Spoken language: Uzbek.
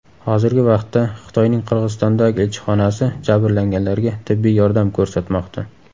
Hozirgi vaqtda Xitoyning Qirg‘izistondagi elchixonasi jabrlanganlarga tibbiy yordam ko‘rsatmoqda.